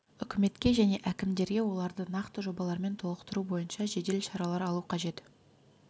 үкіметке және әкімдерге оларды нақты жобалармен толықтыру бойынша жедел шаралар алу қажет